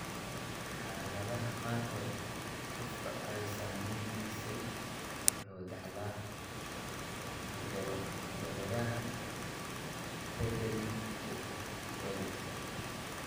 Xaaladaha qaarkood, qofka ay saamaysay wuxuu dhaxlaa hidda-wadaha beddelmay ee waalidka.